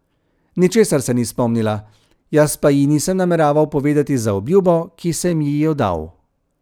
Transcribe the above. Ničesar se ni spomnila, jaz pa ji nisem nameraval povedati za obljubo, ki sem ji jo dal.